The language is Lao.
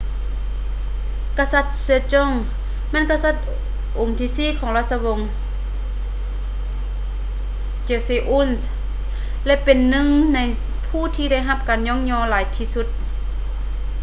ກະສັດ sejong ແມ່ນກະສັດອົງທີສີ່ຂອງລາຊະວົງ joseon ແລະ ເປັນໜຶ່ງໃນຜູ້ທີ່ໄດ້ຮັບການຍ້ອງຍໍຫຼາຍທີ່ສຸດ